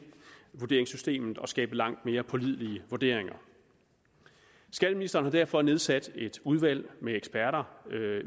vurderingssystemet og skabe langt mere pålidelige vurderinger skatteministeren har derfor nedsat et udvalg med eksterne eksperter